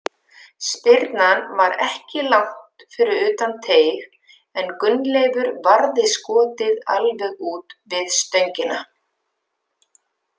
Spyrnan var ekki langt fyrir utan teig en Gunnleifur varði skotið alveg út við stöngina.